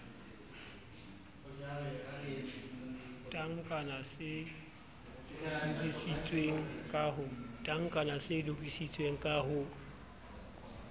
tankana se lokisitsweng ka ho